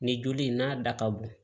Nin joli in n'a da ka bon